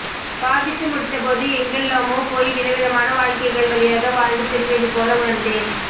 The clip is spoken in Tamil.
வாசித்து முடித்தபோது எங்கெல்லாமோ போய் விதவிதமான வாழ்க்கைகள் வழியாக வாழ்ந்து திரும்பியதுபோல உணர்ந்தேன்